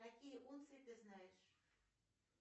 какие унции ты знаешь